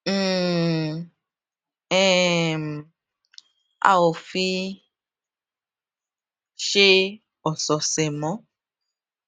um um a ò fi í ṣe òsòòsè mó